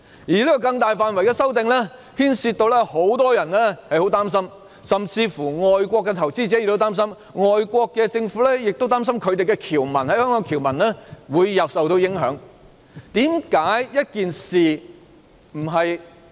這項大範圍的修訂，令很多人擔心，甚至外國投資者也擔心，外國政府亦擔心他們在香港的僑民會受影響。